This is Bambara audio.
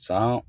San